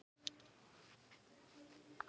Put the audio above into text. Þín dóttir, Freyja Björk.